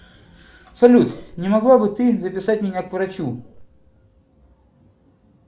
салют не могла бы ты записать меня к врачу